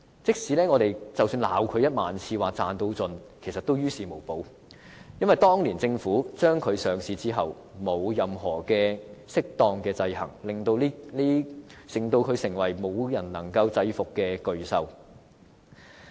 即使我們罵領展1萬次，說它賺到盡，其實也於事無補，因為當年政府讓它上市後沒有任何適當的制衡，令它成為無人能制伏的巨獸。